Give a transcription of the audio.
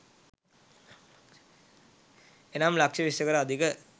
එනම් ලක්ෂ විස්සකට අධික